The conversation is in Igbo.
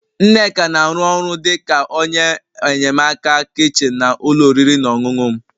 Nneka na-arụ ọrụ dị ka onye enyemaka kichin na ụlọ oriri na ọṅụṅụ m